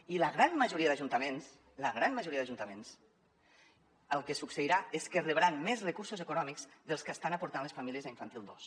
i a la gran majoria d’ajuntaments la gran majoria d’ajuntaments el que succeirà és que rebran més recursos econòmics dels que estan aportant les famílies a infantil dos